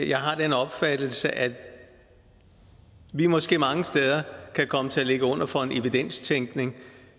jeg har den opfattelse at vi måske mange steder kan komme til at ligge under for en evidenstænkning